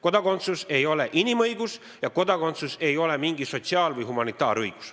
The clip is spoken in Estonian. Kodakondsus ei ole inimõigus ja kodakondsus ei ole mingi sotsiaal- ega humanitaarõigus.